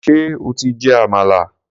Ṣé o ti jẹ àmàlà?